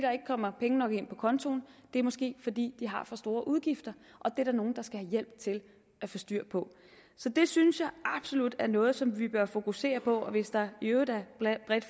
kommer penge nok ind på kontoen det er måske fordi de har for store udgifter og det er der nogle der skal have hjælp til at få styr på så det synes jeg absolut er noget som vi bør fokusere på og hvis der i øvrigt er